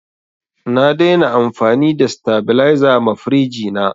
Na dai na amfani da sitabiliza ma firiji na